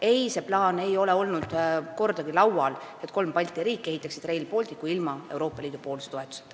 Ei, see mõte ei ole olnud kordagi laual, et kolm Balti riiki ehitaksid Rail Balticu ka ilma Euroopa Liidu toetuseta.